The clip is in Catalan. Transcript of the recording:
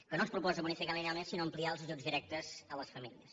que no ens proposa bonificar linealment sinó ampliar els ajuts directes a les famílies